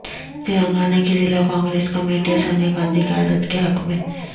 تلنگانہ کی ضلع کانگریس کمیٹیاں سونیا گاندھی قیادت کے حق میں